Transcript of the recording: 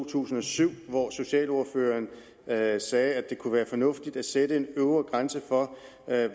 tusind og syv hvor socialordføreren sagde sagde at det kunne være fornuftigt at sætte en øvre grænse for